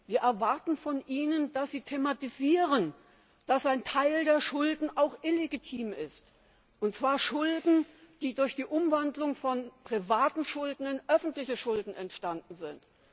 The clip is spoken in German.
Wir erwarten von Ihnen, dass Sie thematisieren, dass ein Teil der Schulden auch illegitim ist und zwar Schulden, die durch die Umwandlung von privaten in öffentliche Schulden entstanden sind.